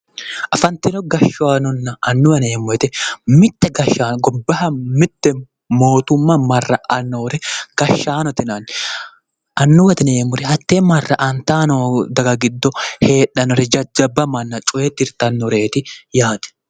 Afantino gashshaanonna annuwa yineemmo woyite mitte gashshaano gobbaha mitte mootumma marra'aa noore gashshaanote yinanni. annuwate yineemmori hattee marra'antaa noo daga giddo heedhannore jajjabba manna cooye tirtannoreeti yaate.